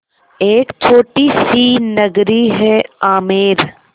एक छोटी सी नगरी है आमेर